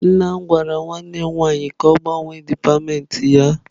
Nna m gwara nwanne m nwaanyị ka ọ gbanwee dipatịmentị ya.